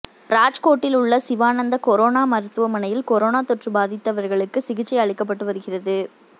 ராஜ்கோட்டில் உள்ள சிவானந்த் கரோனா மருத்துவமனையில் கரோனா தொற்று பாதித்தவர்களுக்குச் சிகிச்சை அளிக்கப்பட்டு வருகிறது